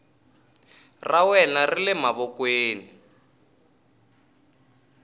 ra wena ri le mavokweni